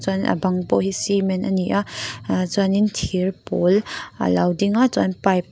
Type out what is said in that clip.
chuan a bang pawh hi cement a ni a ahh chuanin thir pawl a lo ding a chuan pipe --